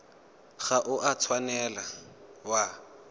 ga o a tshwanela wa